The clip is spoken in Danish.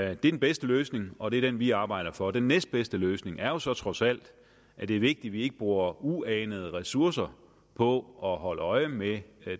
er den bedste løsning og det er den vi arbejder for den næstbedste løsning er jo så trods alt at det er vigtigt at vi ikke bruger uanede ressourcer på at holde øje med